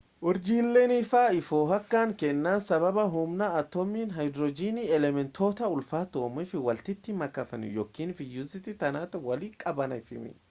urjileen ifaa if hoo’a kan keennan sababa huumna atoomiin haaydirojiinii elementoota ulfaatoo uumuuf walitti makamaniifi yookiin fiyuzii ta’aanii walitti qabamaniifi